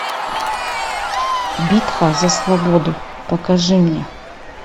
битва за свободу покажи мне